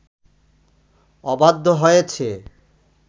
অবাধ্য হয়েছে